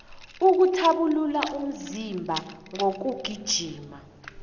ukuthabulula umzimba ngokugijima